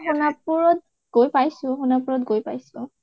সোণাপুৰত গৈ পাইছো । সোণাপুৰত গৈ পাইছো